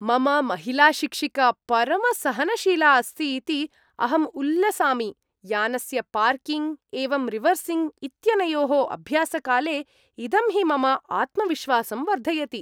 मम महिलाशिक्षिका परमसहनशीला अस्ति इति अहं उल्लसामि; यानस्य पार्किङ्ग् एवं रिवर्सिङ्ग् इत्यनयोः अभ्यासकाले इदं हि मम आत्मविश्वासं वर्धयति।